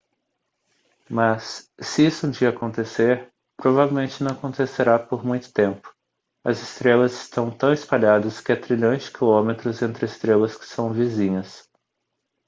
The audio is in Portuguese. mas se isso um dia acontecer provavelmente não acontecerá por muito tempo as estrelas estão tão espalhadas que há trilhões de quilômetros entre estrelas que são vizinhas